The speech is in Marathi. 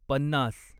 पन्नास